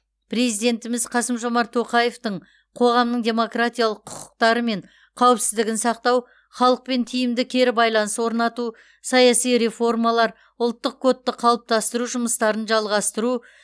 президентіміз қасым жомарт тоқаевтың қоғамның демократиялық құқықтары мен қауіпсіздігін сақтау халықпен тиімді кері байланыс орнату саяси реформалар ұлттық кодты қалыптастыру жұмыстарын жалғастыру